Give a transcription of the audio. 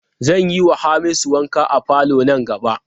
Zan yiwa Hamisu wanka a falo nan gaba.